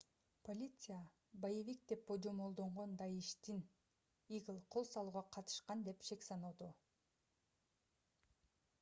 полиция боевик деп божомолдонгон даиштен игил кол салууга катышкан деп шек саноодо